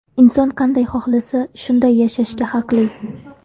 Inson qanday xohlasa, shunday yashashga haqli.